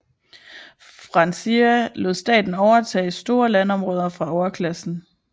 Francia lod staten overtage store landområder fra overklassen